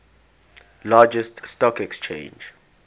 largest stock exchange